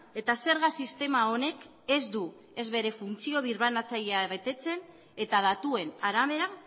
eta zerga sistema honek ez du ez bere funtzio birbanatzailea betetzen eta datuen arabera